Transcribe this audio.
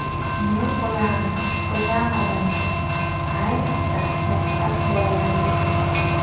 Men ularni istagan odamga, ayniqsa, maktab bolalariga ko‘rsataman.